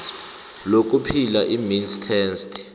lokuphila imeans test